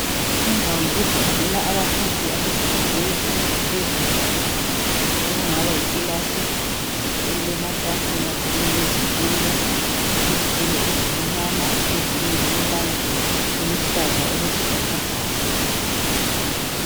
Indawo yokufundela abafundi abemfundo yezinga laphezulu, okungaba yikilasi elilamatafula kanye lezitulo, izitulo ezimnyama ezinye zilombala oluhlaza okwesibhakabhaka.